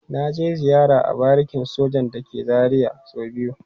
Na je ziyara a barikin sojan da ke Zaria so biyu.